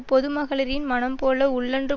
பொதுமகளிரின் மனம் போல உள்ளொன்று